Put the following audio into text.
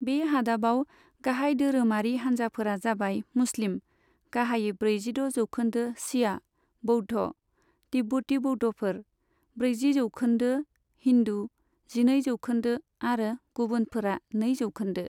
बे हादाबाव गाहाय धोरोमारि हानजाफोरा जाबाय मुस्लिम, गाहायै ब्रैजिद' जौखोन्दो शिया, बौद्ध, तिब्बती बौद्धफोर, ब्रैजि जौखोन्दो, हिन्दु, जिनै जौखोन्दो आरो गुबुनफोरा नै जौखोन्दो।